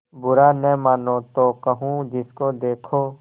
बुरा न मानों तो कहूँ जिसको देखो